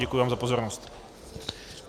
Děkuji vám za pozornost.